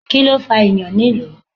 Kíló fà ìyàn nílùú?